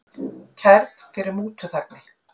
Kærð fyrir mútuþægni